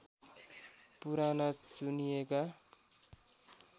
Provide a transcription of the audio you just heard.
पुराना चुनिएका